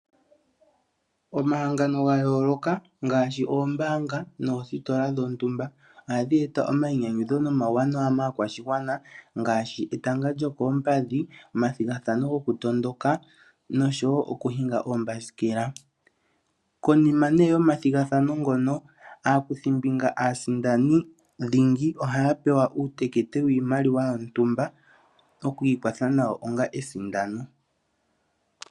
Omahangano gayooloka ngaashi oombaanga noositola dhontumba, ohadhi eta omainyanyudho nomauwanawa maakwashigwana ngaashi etanga lyokoompadhi, omathigathano gokutondoka noshowo okuhinga oombasikela. Konima nee yomathigathano ngano ,aakuthimbinga aasindani dhingi, ohaya pewa uutekete wiimaliwa yontumba oku ikwatha nayo onga esindano.